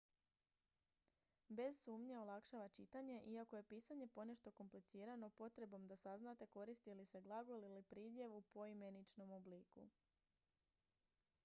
bez sumnje olakšava čitanje iako je pisanje ponešto komplicirano potrebom da saznate koristi li se glagol ili pridjev u poimeničenom obliku